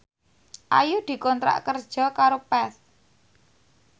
Ayu dikontrak kerja karo Path